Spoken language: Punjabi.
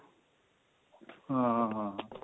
ਹਾਂ ਹਾਂ